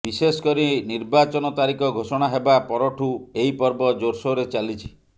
ବିଶେଷକରି ନିର୍ବାଚନ ତାରିଖ ଘୋଷଣା ହେବା ପରଠୁଁ ଏହି ପର୍ବ ଜୋରସୋରରେ ଚାଲିଛି